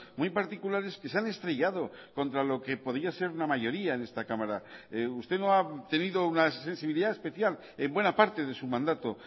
muy particulares que se han estrellado contra lo que podía ser una mayoría en esta cámara usted no ha tenido una sensibilidad especial en buena parte de su mandato